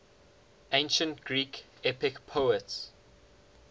ancient greek epic poets